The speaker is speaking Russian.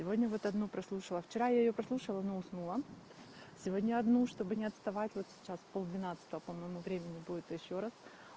сегодня вот одну прослушала вчера я её прослушала но уснула сегодня одну чтобы не отставать вот сейчас пол двенадцатого по моему времени будет ещё раз